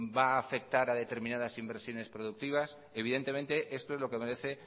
va a afectar a determinadas inversiones productivas evidentemente esto es lo que merece